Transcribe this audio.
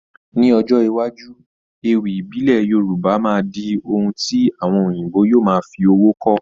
Ní ọjọ́ iwájú, ewì ìbílẹ̀ Yorùbá máa di ohun tí àwọn òyìnbó yóò máa fi owó kọ́.